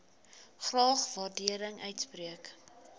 graag waardering uitspreek